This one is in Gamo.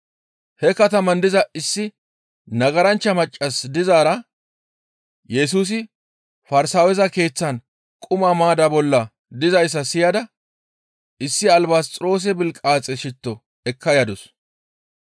He kataman diza issi nagaranchcha maccas dizaara Yesusi Farsaaweza keeththan quma maadda bollan dizayssa siyada issi albasxiroose bilqaaxe shitto ekka yadus.